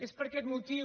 és per aquest motiu